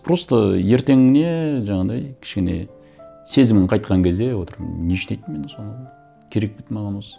просто ертеңіне жаңағыдай кішкене сезімің қайтқан кезде отырып не үшін айттым мен соны керек пе еді маған осы